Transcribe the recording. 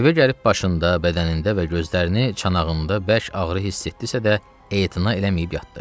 Evə gəlib başında, bədənində və gözlərini çanağında bərk ağrı hiss etdisə də, etina eləməyib yatdı.